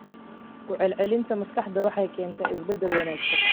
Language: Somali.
Ku celcelinta maskaxda waxay keentaa isbeddello wanaagsan.